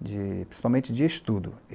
de principalmente de estudo.